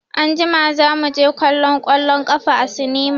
Anjima za mu je kallon ƙwallon ƙafa a sinima.